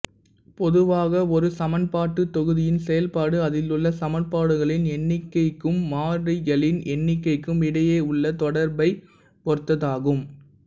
பொதுவாக ஒரு சமன்பாட்டுத் தொகுதியின் செயல்பாடு அதிலுள்ள சமன்பாடுகளின் எண்ணிக்கைக்கும் மாறிகளின் எண்ணிக்கைக்கும் இடையேயுள்ள தொடர்பைப் பொறுத்ததாகும்